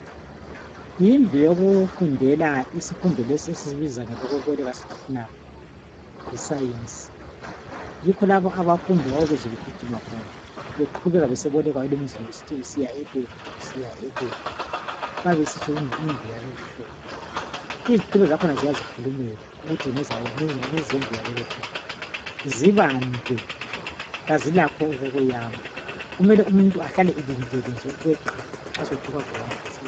yindlu yokufundela isifundo lesi esisibiza ngelokweboleka sisithi thina yi science yikho labo abafundi owawubezwe begijima beqhubeka beseboleka olwemzini besithi siya e Lab siya e Lab bayabe besitsho indlu yalolu uhlobo izitulo zakhona ziyazikhulumela ukuthi ngezendlu yalolo hlobo zibande kazilakho okokweyama kumele umuntu ahlale elindele nje ukweqa nxa sekuthe kwavela ingozi